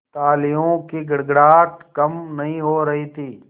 तालियों की गड़गड़ाहट कम नहीं हो रही थी